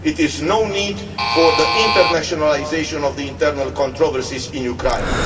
There is no need for internationalisation of the internal controversies in Ukraine.